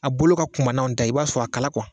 A bolo ka kunba n'anw ta ye i b'a sɔrɔ a kala